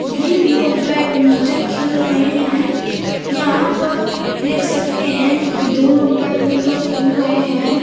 ये लोग बैडमिंटन खेल रहे हैं। यहाँ पर देख सकते है कि दो लोग बैडमिंटन खेल रहे हैं ।